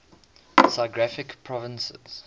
physiographic provinces